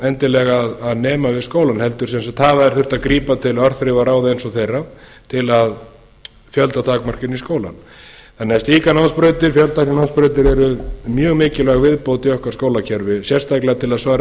endilega að nema við skólann heldur hafa þeir þurft að grípa til örþrifaráða eins og þeirra til að fjöldatakmarka inn í skólann slíkar námsbrautir fjöltækninámsbrautir eru svo mjög mikilvæg viðbót inn í okkar skólakerfi sérstaklega til að svara